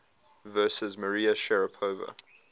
versus maria sharapova